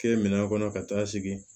Kɛ minɛn kɔnɔ ka taa segi